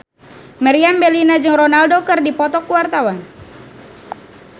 Meriam Bellina jeung Ronaldo keur dipoto ku wartawan